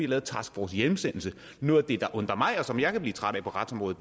lavet task force hjemsendelse noget af det der undrer mig og som jeg kan blive træt af på retsområdet